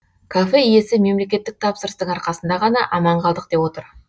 кафе иесі мемлекеттік тапсырыстың арқасында ғана аман қылдық деп отыр